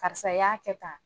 Karisa i y'a kɛ tan